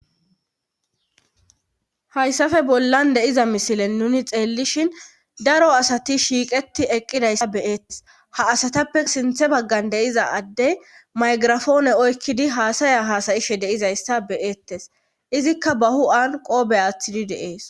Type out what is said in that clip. hayssafe bollan de'iza misilen nuni xeellishin daro asati shiiqeti eqqidayssa beeettes ha asatappe sinthe baggan deiza addey maygirafoone oykkidi haasaya haasayishe deizayssa beeettes izikka ba hu7an qoobe aaththidi deees